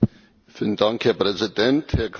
Herr Präsident, Herr Kommissar!